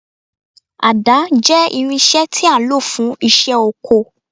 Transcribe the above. Àdá jẹ́ irinṣẹ́ tí a ń lò fún iṣẹ́ oko